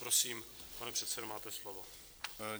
Prosím, pane předsedo, máte slovo.